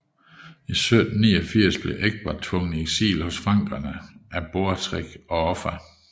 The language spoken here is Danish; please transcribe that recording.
I 789 blev Egbert tvunget i eksil hos frankerne af Beorhtric og Offa